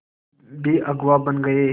भी अगुवा बन गए